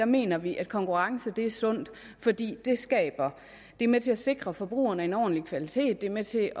mener vi at konkurrence er sundt fordi det er med til at sikre forbrugerne en ordentlig kvalitet det er med til